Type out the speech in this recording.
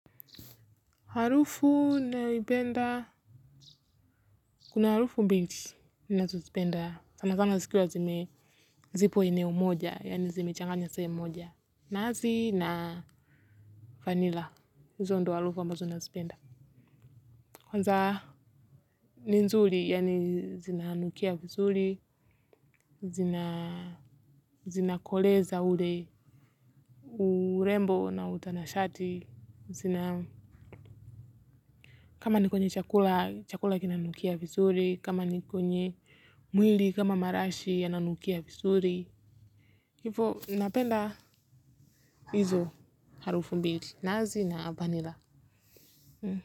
Harufu ninayoipenda. Kuna harufu mbili. Ninazozipenda. Sana sana zikiwazime. Zipo eneo moja. Yani zimechanganya sehemu moja. Nazi na vanilla. Zaondoa harufu ambazo nazipenda. Kwanza ni nzuri. Yani zinanukia vizuri. Zina. Zina koleza ule. Urembo na utanashati. Zina. Kama nikonywe chakula. Chakula kinanukia vizuri. Kama nikonywe mwili. Kama marashi yananukia vizuri hivo napenda hizo harufu mbili nazi na vanila.